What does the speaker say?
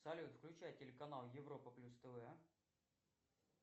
салют включай телеканал европа плюс тв